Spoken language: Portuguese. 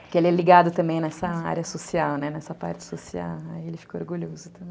Porque ele é ligado também nessa área social, né, nessa parte social, aí ele ficou orgulhoso também.